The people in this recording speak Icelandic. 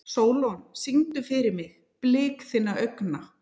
Sólon, syngdu fyrir mig „Blik þinna augna“.